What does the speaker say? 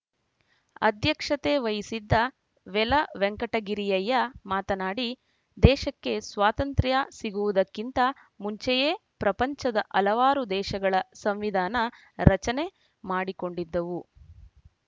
ಅಧ್ಯಕ್ಷತೆ ವಹಿಸಿದ್ದ ವೆಲ ವೆಂಕಟಗಿರಿಯಯ್ಯ ಮಾತನಾಡಿ ದೇಶಕ್ಕೆ ಸ್ವಾತಂತ್ರ್ಯ ಸಿಗುವುದಕ್ಕಿಂತ ಮುಂಚೆಯೇ ಪ್ರಪಂಚದ ಹಲವಾರು ದೇಶಗಳ ಸಂವಿಧಾನ ರಚನೆ ಮಾಡಿಕೊಂಡಿದ್ದವು